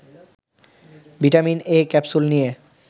vitamin A capsule নিয়ে